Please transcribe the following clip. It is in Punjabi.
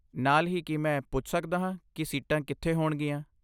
ਨਾਲ ਹੀ, ਕੀ ਮੈਂ ਪੁੱਛ ਸਕਦਾ ਹਾਂ ਕਿ ਸੀਟਾਂ ਕਿੱਥੇ ਹੋਣਗੀਆਂ?